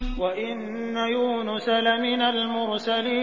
وَإِنَّ يُونُسَ لَمِنَ الْمُرْسَلِينَ